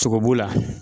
Sogo b'o la